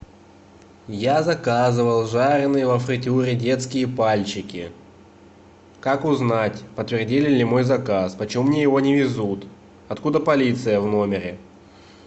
я заказывал жареные во фритюре детские пальчики как узнать подтвердили ли мой заказ почему мне его не везут откуда полиция в номере